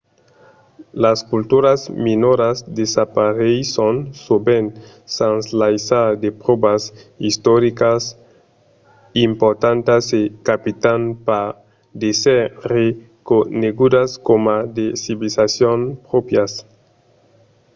las culturas minoras desapareisson sovent sens laissar de pròvas istoricas importantas e capitan pas d'èsser reconegudas coma de civilizacions pròprias